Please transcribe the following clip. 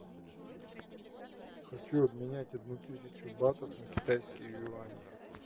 хочу обменять одну тысячу батов на китайские юани